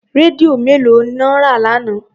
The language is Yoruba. Rédíò mélòó lọ rà lánàá?